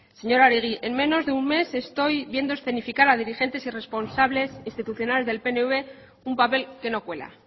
señora oregi en menos de un mes estoy viendo escenificar a dirigentes y responsables institucionales del pnv un papel que no cuela